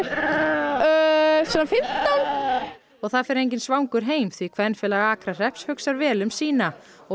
og það fer enginn svangur heim því kvenfélag Akrahrepps hugsar vel um sína og